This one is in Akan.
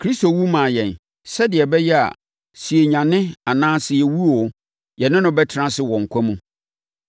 Kristo wu maa yɛn, sɛdeɛ ɛbɛyɛ a, sɛ yɛanyane anaa sɛ yɛawu oo, yɛne no bɛtena ase wɔ nkwa mu.